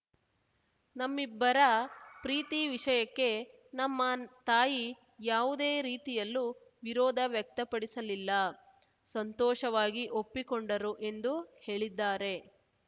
ನಮ್ಮಿಬ್ಬರ ಪ್ರೀತಿ ವಿಷಯಕ್ಕೆ ನಮ್ಮ ತಾಯಿ ಯಾವುದೇ ರೀತಿಯಲ್ಲೂ ವಿರೋಧ ವ್ಯಕ್ತಪಡಿಸಲಿಲ್ಲ ಸಂತೋಷವಾಗಿ ಒಪ್ಪಿಕೊಂಡರು ಎಂದು ಹೇಳಿದ್ದಾರೆ